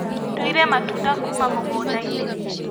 Nduire matunda kuma mũgũndainĩ.